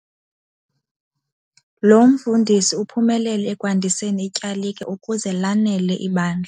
Lo mfundisi uphumelele ekwandiseni ityalike ukuze lanele ibandla.